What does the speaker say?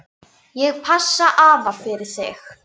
Ég passa afa fyrir þig.